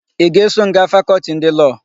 Ị ga-eso m gaa Fakọltị ndị Lọọ?